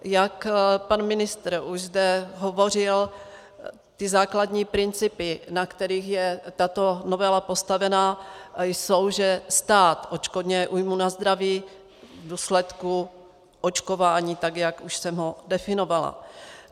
Jak pan ministr už zde hovořil, ty základní principy, na kterých je tato novela postavená, jsou, že stát odškodňuje újmu na zdraví v důsledku očkování, tak jak už jsem ho definovala.